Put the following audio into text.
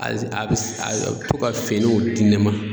a bɛ a bɛ to ka finiw di ne ma.